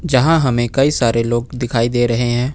यहां हमें कई सारे लोग दिखाई दे रहे हैं।